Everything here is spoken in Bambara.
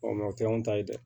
o kɛ an ta ye dɛ